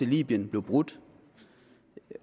libyen blev brudt